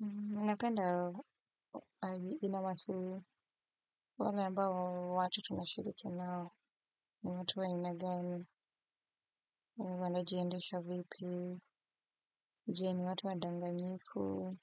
Ninapenda aina ya watu wale ambao watu tunashirikia nao, watu wa aina gani, wanajiendesha vipi, je, ni watu wadanganyifu,